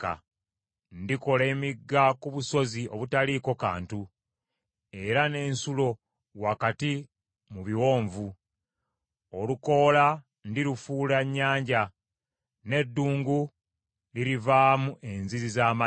Ndikola emigga ku busozi obutaliiko kantu, era n’ensulo wakati mu biwonvu. Olukoola ndirufuula ennyanja, n’eddungu lirivaamu enzizi z’amazzi.